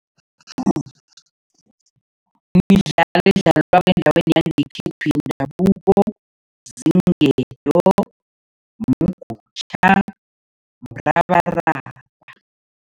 Midlalo edlalwa endaweni yangekhethu yendabuko, ziinketo, mgutjha, mrabaraba.